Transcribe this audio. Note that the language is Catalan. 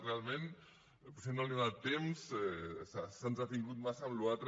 realment potser no ha tingut temps s’ha entretingut massa en la resta